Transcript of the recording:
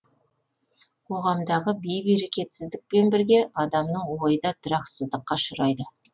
қоғамдағы бейберекетсіздікпен бірге адамның ойы да тұрақсыздыққа ұшырайды